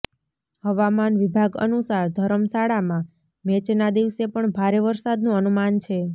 હવામાન વિભાગ અનુસાર ધરમશાળામાં મેચના દિવસે પણ ભારે વરસાદનું અનુમાન છે